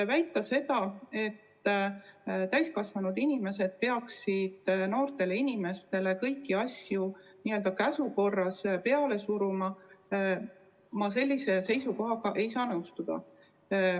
Väita seda, et täiskasvanud inimesed peaksid noortele inimestele kõiki asju n-ö käsu korras peale suruma – ma ei saa sellise seisukohaga nõustuda.